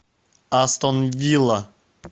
астон вилла